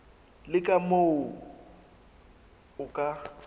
le ka moo o ka